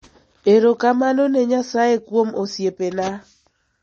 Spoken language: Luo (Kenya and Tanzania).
Erokamano ne Nyasaye kuom osiepena.